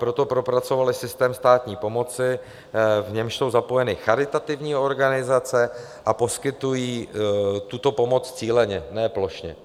Proto propracovali systém státní pomoci, v němž jsou zapojeny charitativní organizace, a poskytují tuto pomoc cíleně, ne plošně.